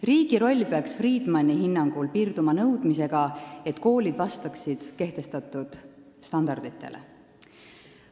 Riigi roll peaks Friedmani hinnangul piirduma nõudmisega, et koolid vastaksid kehtestatud standarditele.